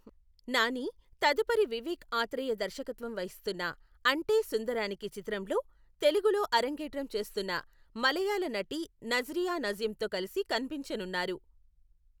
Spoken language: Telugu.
నాని తదుపరి వివేక్ ఆత్రేయ దర్శకత్వం వహిస్తున్న అంటే, సుందరానికి చిత్రంలో తెలుగులో అరంగేట్రం చేస్తున్న మలయాళ నటి నజ్రియా నజీమ్తో కలిసి కనిపించనున్నారు.